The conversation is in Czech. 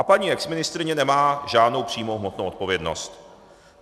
A paní exministryně nemá žádnou přímou hmotnou odpovědnost.